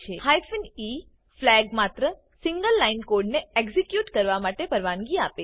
hyphen e flag માત્ર single line કોડને execute કરવા માટે પરવાનગી આપે છે